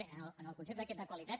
bé en el concepte aquest de qualitat